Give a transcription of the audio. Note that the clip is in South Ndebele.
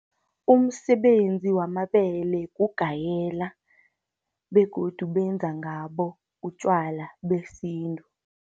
Umsebenzi wamabele, kugayela begodu benza ngabo utjwala besintu.